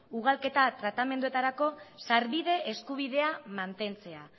ugalketa tratamenduetarako sarbide eskubidea mantentzea